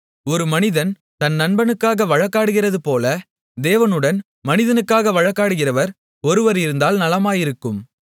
ஒரு மனிதன் தன் நண்பனுக்காக வழக்காடுகிறதுபோல தேவனுடன் மனிதனுக்காக வழக்காடுகிறவர் ஒருவர் இருந்தால் நலமாயிருக்கும்